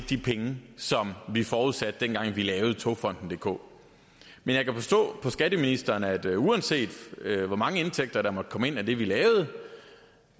de penge som vi forudsatte da vi lavede togfonden dk men jeg kan forstå på skatteministeren at uanset hvor mange indtægter der måtte komme ind af det vi lavede